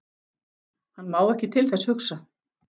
Hann má ekki til þess hugsa.